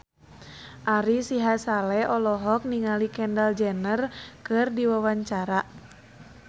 Ari Sihasale olohok ningali Kendall Jenner keur diwawancara